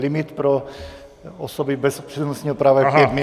Limit pro osoby bez přednostního práva je pět minut.